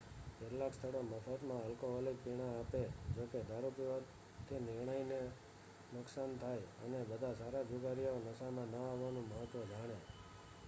કેટલાક સ્થળો મફતમાં આલ્કોહોલિક પીણા આપે.જોકે દારૂપીવાથી નિર્ણય ને નુકસાન થાય, અને બધા સારા જુગારીઓ નશામાં ન આવવાનું મહત્વ જાણે